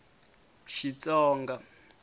xitsonga